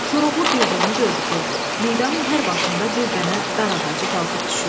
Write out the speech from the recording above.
Koroğlu bir də onu gördü ki, meydanın hər başında bir dənə dar ağacı qalxıb düşür.